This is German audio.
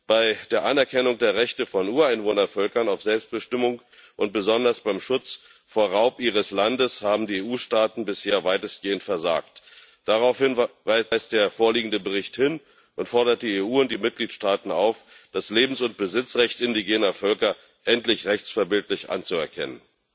Bei der Anerkennung der Rechte von Ureinwohnervölkern auf Selbstbestimmung und besonders beim Schutz vor Raub ihres Landes haben die EU Staaten bisher weitestgehend versagt. Darauf weist der vorliegende Bericht hin und fordert die EU und die Mitgliedstaaten auf, das Lebens und Besitzrecht indigener Völker endlich rechtsverbindlich anzuerkennen.